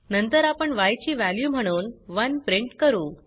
नंतर आपण य ची वॅल्यू म्हणून 1 प्रिंट करू